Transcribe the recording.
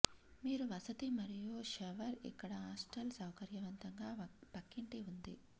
మీరు వసతి మరియు షవర్ ఇక్కడ హాస్టల్ సౌకర్యవంతంగా పక్కింటి ఉంది